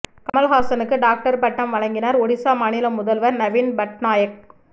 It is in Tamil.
கமல்ஹாசனுக்கு டாக்டர் பட்டம் வழங்கினார் ஒடிசா மாநில முதல்வர் நவீன் பட்நாயக்